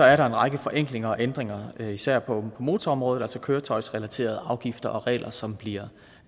er der en række forenklinger og ændringer især på motorområdet altså køretøjsrelaterede afgifter og regler som bliver